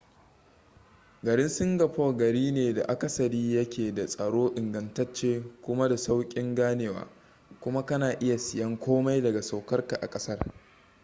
garin singapore gari ne da akasari ya ke da tsaro ingantacce kuma da saukin ganewa kuma ka na iya siyen komai daga saukarka a kasar